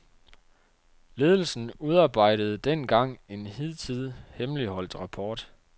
Ledelsen udarbejdede dengang en hidtil hemmeligholdt rapport.